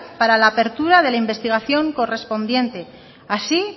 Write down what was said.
para la apertura de la investigación correspondiente así